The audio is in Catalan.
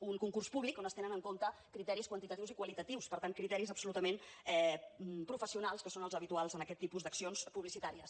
un concurs públic on es tenen en compte criteris quantitatius i qualitatius per tant criteris absolutament professionals que són els habituals en aquest tipus d’accions publicitàries